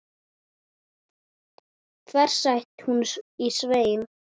hvæsti hún á Svein